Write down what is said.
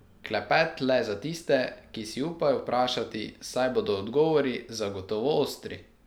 Klepet le za tiste, ki si upajo vprašati, saj bodo odgovori zagotovo ostri.